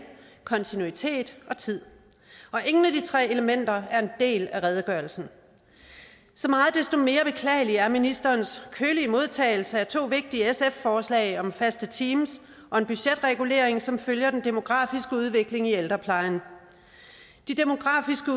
kontinuitet og tid ingen af de tre elementer er en del af redegørelsen så meget desto mere beklagelig er ministerens kølige modtagelse af to vigtige sf forslag om faste teams og en budgetregulering som følger den demografiske udvikling i ældreplejen de demografiske